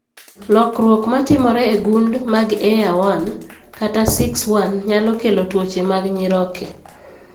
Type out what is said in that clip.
lokruok matimore e gund mag EYA1 kata SIX1 nyalo kelo tuoche mag nyiroke.